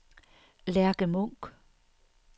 Lærke Munch